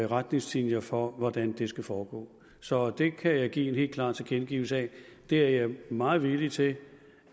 retningslinjer for hvordan det skal foregå så det kan jeg give en helt klar tilkendegivelse af det er jeg meget villig til